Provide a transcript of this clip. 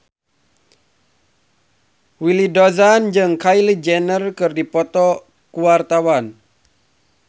Willy Dozan jeung Kylie Jenner keur dipoto ku wartawan